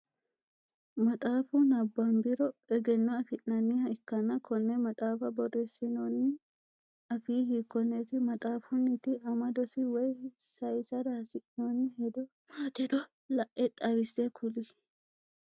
Maxaafu nabanmbiro egeno afi'nanniha ikanna konne maxaafa boreesinoonni afii hiikoneeti? Maxaafunniti amadosi woyi sayisara hasi'noonni hedo maatiro la'e xawise kuli?